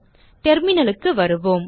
terminalக்கு வருவோம்